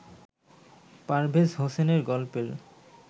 পারভেজ হোসেনের গল্পের